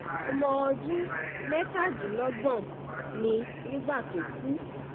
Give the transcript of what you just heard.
ọmọ ọdún mẹ́tàdínlọ́gbọ̀n ni nígbà tó kú